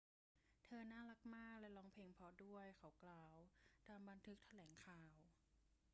เธอน่ารักมากและร้องเพลงเพราะด้วย เขากล่าว ตามบันทึกแถลงข่าว